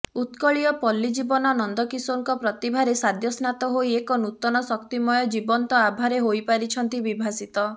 ଉତ୍କଳୀୟ ପଲ୍ଲୀଜୀବନ ନନ୍ଦକିଶୋରଙ୍କ ପ୍ରତିଭାରେ ସଦ୍ୟସ୍ନାତ ହୋଇ ଏକ ନୂତନ ଶକ୍ତିମୟ ଜୀବନ୍ତ ଆଭାରେ ହୋଇପାରିଛନ୍ତି ବିଭାସିତ